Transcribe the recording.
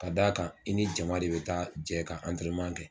Ka d'a a kan i ni jama de bɛ taa jɛ ka kɛ.